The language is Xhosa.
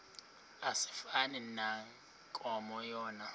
asifani nankomo yona